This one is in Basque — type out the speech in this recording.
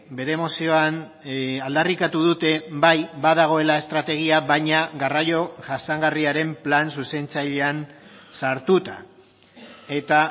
bere mozioan aldarrikatu dute bai badagoela estrategia baina garraio jasangarriaren plan zuzentzailean sartuta eta